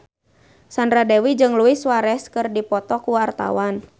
Sandra Dewi jeung Luis Suarez keur dipoto ku wartawan